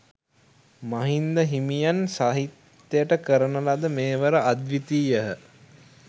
මහින්ද හිමියන් සාහිත්‍යයට කරන ලද මෙහෙවර අද්විතීයහ.